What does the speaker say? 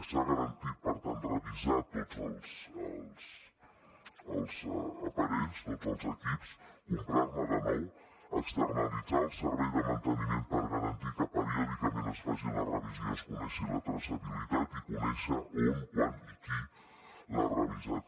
s’ha garantit per tant revisar tots els aparells tots els equips comprar ne de nous externalitzar el servei de manteniment per garantir que periòdicament se’n faci la revisió i se’n conegui la traçabilitat i conèixer on quan i qui els ha revisat